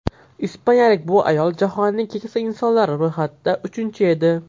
Ispaniyalik bu ayol jahonnning keksa insonlari ro‘yxatida uchinchi edi.